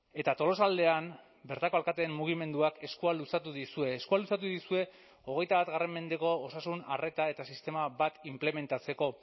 eta tolosaldean bertako alkateen mugimenduak eskua luzatu dizue eskua luzatu dizue hogeita bat mendeko osasun arreta eta sistema bat inplementatzeko